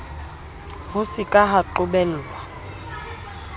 ho se ka ha qobellwa